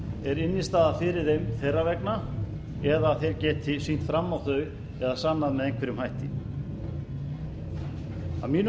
er innstæða fyrir þeim þeirra vegna eða að þeir geti sýnt fram á þau eða sannað með einhverjum hætti að mínu